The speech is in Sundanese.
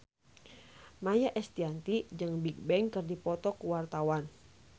Maia Estianty jeung Bigbang keur dipoto ku wartawan